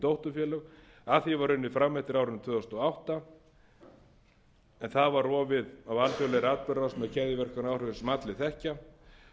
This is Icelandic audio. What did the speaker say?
dótturfélög að því var unnið fram eftir árinu tvö þúsund og átta en það var rofið með keðjuverkaáhrifum sem allir þekkja